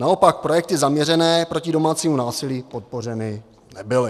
Naopak projekty zaměřené proti domácímu násilí podpořeny nebyly.